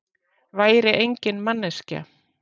Væri engin manneskja.